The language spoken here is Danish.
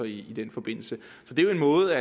i den forbindelse så det er jo en måde